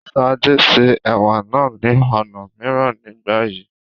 Ṣadé se Ẹ̀wà náà ní ọ̀nà mìíràn nígbà yìí.